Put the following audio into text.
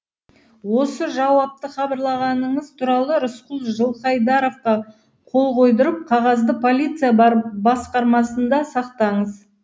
осы жауапты хабарлағаныңыз туралы рысқұл жылқайдаровқа қол қойдырып қағазды полиция басқармасында сақтаңыз